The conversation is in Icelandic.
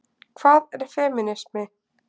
Hvað er femínismi?